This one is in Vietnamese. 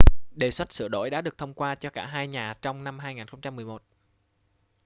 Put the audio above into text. đề xuất sửa đổi đã được thông qua cho cả hai nhà trong năm 2011